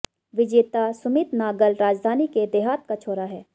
विजेता सुमित नागल राजधानी के देहात का छोरा है